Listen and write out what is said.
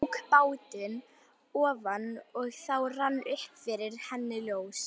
Tók bátinn ofan og þá rann upp fyrir henni ljós.